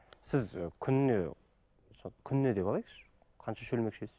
сіз і күніне сол күніне деп алайықшы қанша шөлмек ішесіз